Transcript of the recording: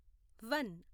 one